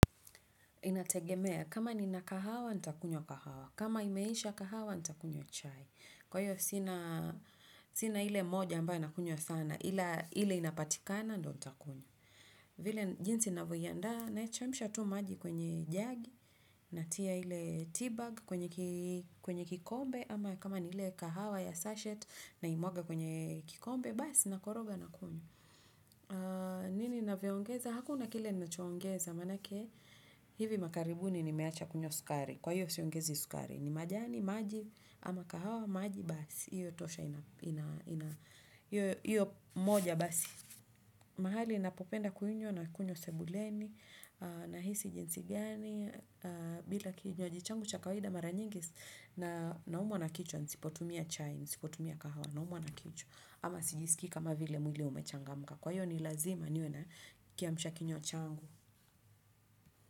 Inategemea, kama nina kahawa, nitakunywa kahawa. Kama imeisha kahawa, nitakunywa chai. Kwa hiyo, sina ile moja ambayo nakunywa sana, ila ile inapatikana ndiyo nitakunywa. Vile jinsi ninavyoandaa, naichemsha tu maji kwenye jagi, natia ile tea bag kwenye kikombe, ama kama ni ile kahawa ya sachet naimwaga kwenye kikombe, basi nakoroga nakunywa. Nini ninavyongeza? Hakuna kile ninachoongeza maanake. Hivi makaribuni nimeacha kunywa sukari kwa hiyo siongezi sukari ni majani maji ama kahawa maji basi hiyo moja basi mahali ninapopenda kuiunywa nakunywa sebuleni nahisi jinsi gani bila kinywaji changu cha kawaida mara nyingi naumwa na kichwa nisipotumia chai nisipotumia kahawa naumwa na kichwa ama sijisikii kama vile mwili umechangamka kwa hiyo ni lazima niwe na kiamsha kinywa changu.